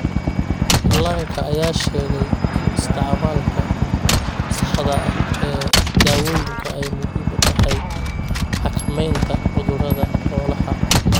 Dhallaanka ayaa sheegay in isticmaalka saxda ah ee dawooyinka ay muhiim u tahay xakameynta cudurada xoolaha.